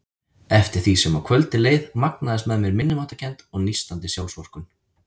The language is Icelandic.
Eftir því sem á kvöldið leið magnaðist með mér minnimáttarkennd og nístandi sjálfsvorkunn.